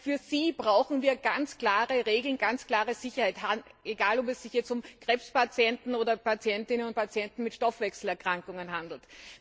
Für sie brauchen wir also ganz klare Regeln, ganz klare Sicherheit, egal, ob es sich um Krebspatienten oder um Patientinnen und Patienten mit Stoffwechselerkrankungen handelt.